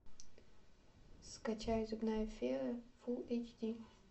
скачай зубная фея фул эйч ди